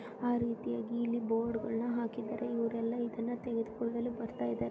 ಆ ರೀತಿಯಾಗಿ ಇಲ್ಲಿ ಬೋರ್ಡ್ ಗಳನ್ನ ಹಾಕಿದರೆ ಇವರೆಲ್ಲ ಇದನ್ನು ತೆಗೆದುಕೊಳ್ಳಲು ಬರ್ತಾ ಇದ್ದಾರೆ.